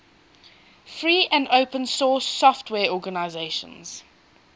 free and open source software organizations